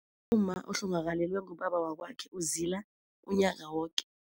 Umma ohlongakalelwe ngubaba wakwakhe uzila unyaka woke.